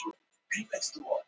Farðu þá úr buxunum.